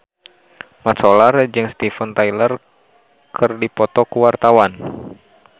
Mat Solar jeung Steven Tyler keur dipoto ku wartawan